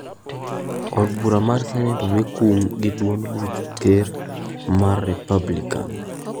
Od bura mar Senet omi kum gi duond buch ker mar Republican.